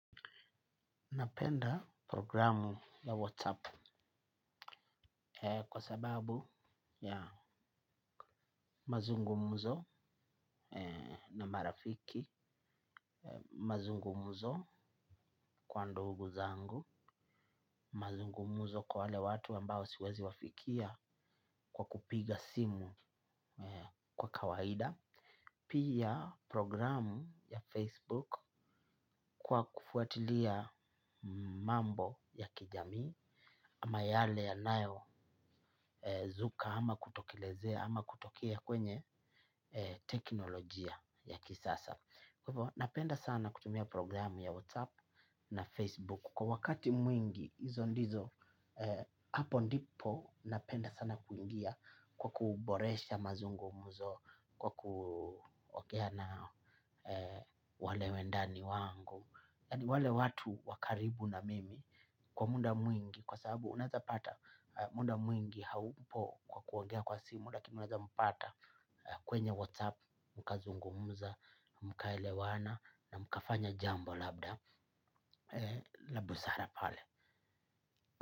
Napenda programu ya WhatsApp kwa sababu ya mazungumzo na marafiki, mazungumzo kwa ndugu zangu, mazungumzo kwa wale watu ambao siwezi wafikia kwa kupiga simu kwa kawaida. Pia programu ya Facebook kwa kufuatilia mambo ya kijamii. Ama yale yanayozuka ama kutokelezea ama kutokea kwenye teknolojia ya kisasa kwa hivyo. Napenda sana kutumia programu ya WhatsApp na Facebook kwa wakati mwingi hizo ndizo, hapo ndipo napenda sana kuingia kwa kuboresha mazungumzo, kwa kuongea nao wale wendani wangu yaani wale watu wa karibu na mimi kwa muda mwingi kwa sababu unaweza pata muda mwingi haupo kwa kuongea kwa simu lakini unaweza mpata kwenye WhatsApp mkazungumza, mkaelewana na mkafanya jambo labda la busara pale.